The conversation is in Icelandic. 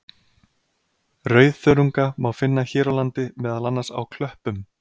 Rauðþörunga má finna hér á landi, meðal annars á klöppum.